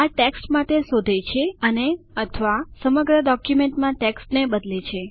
આ ટેક્સ્ટના માટે શોધે છે અનેઅથવા સમગ્ર ડોક્યુમેન્ટમાં ટેક્સ્ટને બદલે છે